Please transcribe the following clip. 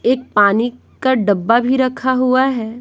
एक पानी का डब्बा भी रखा हुआ है।